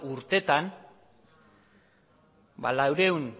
urteetan laurehun